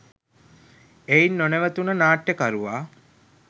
එයින් නොනැවතුණ නාට්‍යකරුවා